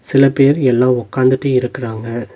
சில பேர் எல்லா உக்காந்துட்டு இருக்குறாங்க.